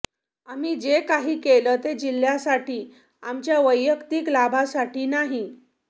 आम्ही जे काही केलं ते जिल्ह्यासाठी आमच्या वैयक्तिक लाभासाठी नाही